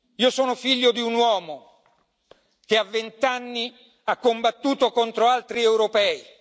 Io sono figlio di un uomo che a vent'anni ha combattuto contro altri europei.